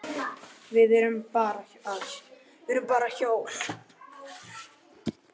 Við erum bara hjól.